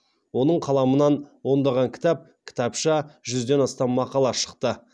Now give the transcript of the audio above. оның қаламынан ондаған кітап кітапша жүзден астам мақала шықты